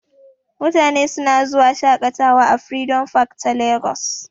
Mutane suna zuwa shaƙatawa a freedom park ta Lagos.